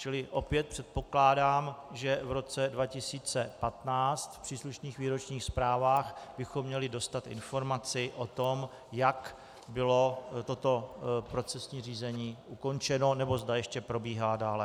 Čili opět předpokládám, že v roce 2015 v příslušných výročních zprávách bychom měli dostat informaci o tom, jak bylo toto procesní řízení ukončeno, nebo zda ještě probíhá dále.